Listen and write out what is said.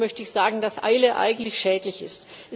Deswegen möchte ich sagen, dass Eile eigentlich schädlich ist.